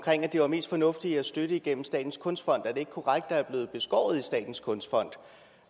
det er mest fornuftigt at støtte igennem statens kunstfond er det ikke korrekt at statens kunstfond